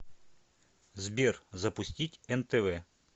сбер запустить нтв